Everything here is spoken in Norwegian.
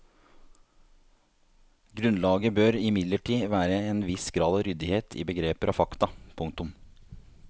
Grunnlaget bør imidlertid være en viss grad av ryddighet i begreper og fakta. punktum